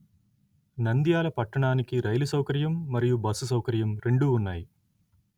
నంద్యాల పట్టణానికి రైలు సౌకర్యం మరియు బస్సు సౌకర్యం రెండూ ఉన్నాయి